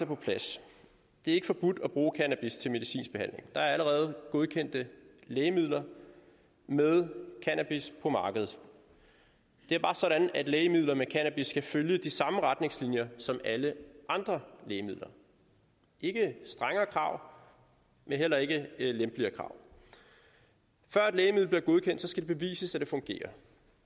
på plads det er ikke forbudt at bruge cannabis til medicinsk behandling der er allerede godkendte lægemidler med cannabis på markedet det er bare sådan at lægemidler med cannabis skal følge de samme retningslinjer som alle andre lægemidler ikke strengere krav men heller ikke lempeligere krav før et lægemiddel bliver godkendt skal det bevises at det fungerer